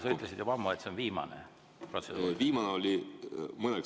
Sa ütlesid juba ammu, et see on viimane protseduuriline.